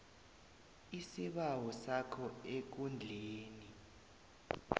isibawo sakho ekundleni